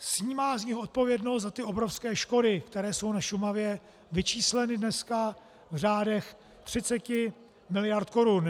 Snímá z nich odpovědnost za ty obrovské škody, které jsou na Šumavě vyčísleny dneska v řádech 30 mld. korun.